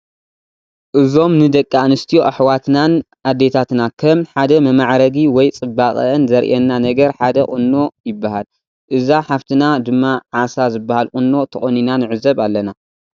እዞም ን ደቂ ኣንስትዮ ኣሕዋትናን ኣዴታትና ከም ሓደ መማዕረጊ ወይ ጽባቅአን ዘርእየና ነገር ሓደ ቁኖ ይበሃል። እዛ ሓፍትና ድማ ዓሳ ዝበሃል ቁኖ ተቆኒና ንዕዘብ ኣለና።